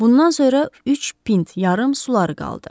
Bundan sonra üç pint yarım suları qaldı.